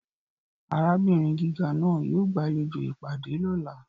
Arabinrin giga naa yoo gbalejo ipade lọla.